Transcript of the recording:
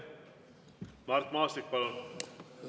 Mart Maastik, palun!